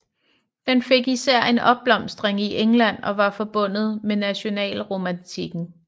Den fik især en opblomstring i England og var forbundet med nationalromantikken